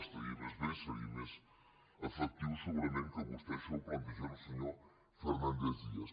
estaria més bé seria més efectiu segurament que vostè això ho plantegés al se·nyor fernández díaz